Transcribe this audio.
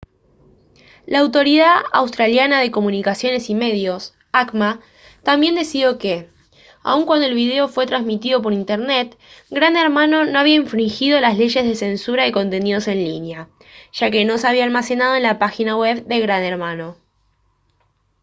la autoridad australiana de comunicaciones y medios acma también decidió que aun cuando el video fue transmitido por internet gran hermano no había infringido las leyes de censura de contenidos en línea ya que no se había almacenado en la página web de gran hermano